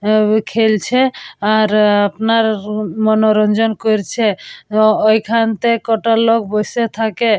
অ্যা অ্যা খেলছে আর আপনার মনোরঞ্জন করছে এবং ওইখানটায় কটা লোক বসে থাকে।